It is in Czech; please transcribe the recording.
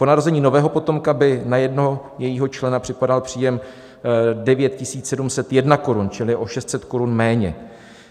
Po narození nového potomka by na jednoho jejího člena připadal příjem 9 701 korun, čili o 600 korun méně.